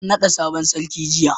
an nada sabon sarki jiya